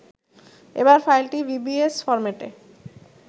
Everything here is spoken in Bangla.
এবার ফাইলটি vbs ফরম্যাটে